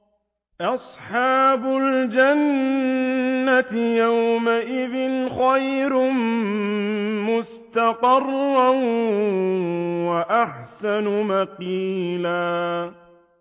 أَصْحَابُ الْجَنَّةِ يَوْمَئِذٍ خَيْرٌ مُّسْتَقَرًّا وَأَحْسَنُ مَقِيلًا